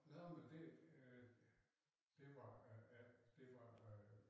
Nå men det øh det var øh det var øh